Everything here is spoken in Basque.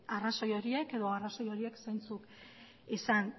arrazoi horiek edo arrazoi horiek zeintzuk izan